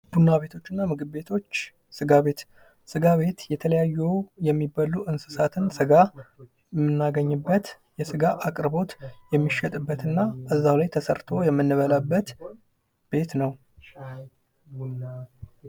ቡና ቤቶች እና ምግብ ቤቶች ስጋ ቤት የተለያዩ የሚበሉ እንስሳትን ስጋ የሚናገኝበት የስጋ አቅርቦት፣ የሚሸጥበትና እዛው ላይ ተሠርቶ የምንበላበት